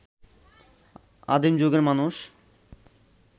আদিম যুগের মানুষ